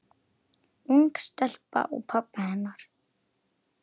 Ung stelpa og pabbi hennar.